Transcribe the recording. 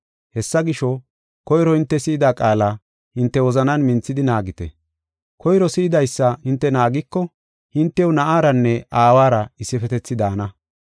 Hessa gisho, koyro hinte si7ida qaala hinte wozanan minthidi naagite. Koyro si7idaysa hinte naagiko hintew Na7aranne Aawara issifetethi daana.